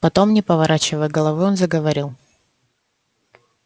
потом не поворачивая головы он заговорил